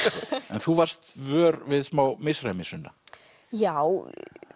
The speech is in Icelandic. mig þú varðst vör við smá misræmi Sunna já